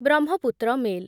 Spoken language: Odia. ବ୍ରହ୍ମପୁତ୍ର ମେଲ୍